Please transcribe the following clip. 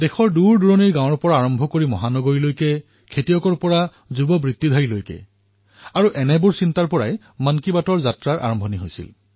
দেশৰ দূৰসুদূৰ গাঁৱৰ পৰা আৰম্ভ কৰি মেট্ৰ চহৰলৈ কৃষকৰ পৰা আৰম্ভ কৰি যুৱ পেছাদাৰীলৈ আৰু সেই সময়ৰ পৰাই এই মন কী বাতৰ যাত্ৰা প্ৰাৰম্ভ হল